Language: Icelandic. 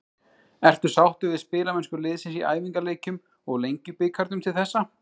Ertu sáttur við spilamennsku liðsins í æfingaleikjum og Lengjubikarnum til þessa?